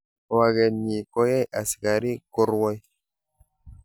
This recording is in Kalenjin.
waket nyi koyai asakarik ko rwoi